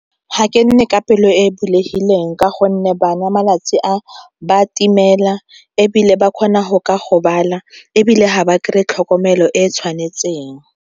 Ga ke nne ka pelo e e bulegileng ka gonne bana malatsi a ba timelela ebile ba kgona go ka gobala ebile ga ba kry-e tlhokomelo e e tshwanetseng.